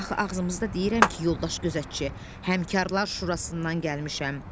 Axı ağzımızda deyirəm ki, yoldaş gözətçi, Həmkarla Şurasından gəlmişəm.